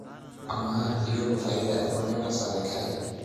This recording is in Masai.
Ama iyiolo faida ekule entasat te nkerai?